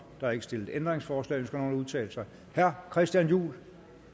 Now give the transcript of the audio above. er ikke stillet ændringsforslag ønsker nogen at udtale sig herre christian juhl